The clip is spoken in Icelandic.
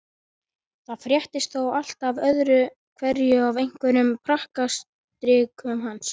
Það fréttist þó alltaf öðru hverju af einhverjum prakkarastrikum hans.